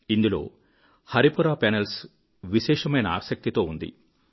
ఇందులో హరిపురా పానెల్స్ విశేషమైన ఆసక్తితో ఉంది